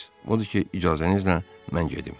Odur ki, icazənizlə mən gedim.